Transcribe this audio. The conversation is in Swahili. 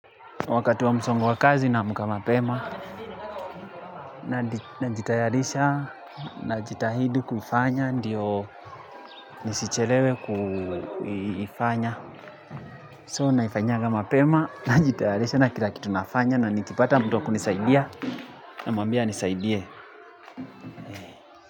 Wakati wa msongo wa kazi, naamka mapema. Najitayarisha najitahidI kufanya ndiyo nisichelewe kuifanya. So, naifanyanga mapema, najitayarisha na kila kitu nafanya na nikipata mtu wa kunisaidia namwambia anisaidie.